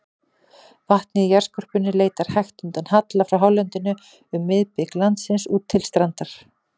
Vatnið í jarðskorpunni leitar hægt undan halla frá hálendinu um miðbik landsins út til strandar.